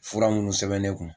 Fura munnu sɛbɛn ne kun.